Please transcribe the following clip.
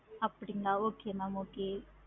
அப்படிங்களா okay ma'am okay